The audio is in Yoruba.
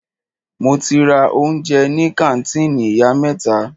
Mo ti ra oúnjẹ ní kàńtìnì ìyá mẹ́ta.